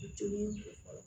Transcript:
Jeli in fa